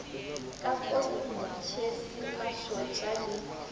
ka kofing tšhese mašotša le